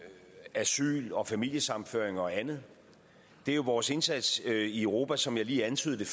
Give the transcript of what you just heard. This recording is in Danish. asyl familiesammenføring og andet det er jo vores indsats i europa som jeg lige antydede